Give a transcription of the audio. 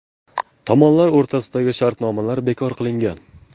Tomonlar o‘rtasidagi shartnoma bekor qilingan.